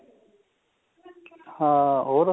ਹਾਂ ਹੋਰ